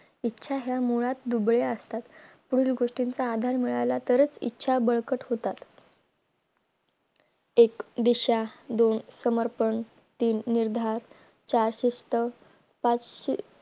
इच्छा या मुळात दुबळे असतात पुढील गोष्टीचा आधार मिळाल्यातरच इच्छा बळकट होतात एक दिशा दोन समर्पण तीन निर्धार चार शिस्त पाच से